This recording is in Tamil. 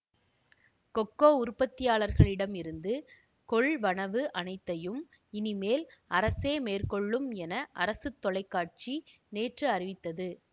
கொக்கோ உற்பத்தியாளர்களிடம் இருந்து கொள்வனவு அனைத்தயும் இனிமேல் அரசே மேற்கொள்ளும் என அரசு தொலைக்காட்சி நேற்று அறிவித்தது